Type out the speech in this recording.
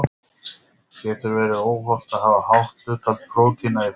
Getur verið óhollt að hafa hátt hlutfall prótína í fæðu?